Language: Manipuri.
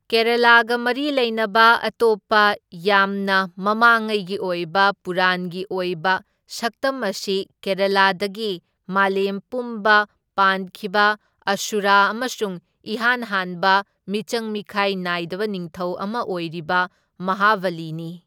ꯀꯦꯔꯥꯂꯥꯒ ꯃꯔꯤ ꯂꯩꯅꯕ ꯑꯇꯣꯞꯄ ꯌꯥꯝꯅ ꯃꯃꯥꯡꯉꯩꯒꯤ ꯑꯣꯏꯕ ꯄꯨꯔꯥꯟꯒꯤ ꯑꯣꯏꯕ ꯁꯛꯇꯝ ꯑꯁꯤ ꯀꯦꯔꯥꯂꯥꯗꯒꯤ ꯃꯂꯦꯝ ꯄꯨꯝꯕ ꯄꯥꯟꯈꯤꯕ ꯑꯁꯨꯔꯥ ꯑꯃꯁꯨꯡ ꯏꯍꯥꯟ ꯍꯥꯟꯕ ꯃꯤꯆꯪ ꯃꯤꯈꯥꯏ ꯅꯥꯏꯗꯕ ꯅꯤꯡꯊꯧ ꯑꯃ ꯑꯣꯢꯔꯤꯕ ꯃꯍꯥꯕꯂꯤꯅꯤ꯫